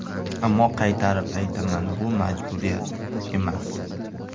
Ammo qaytarib aytaman, bu majburiyat emas.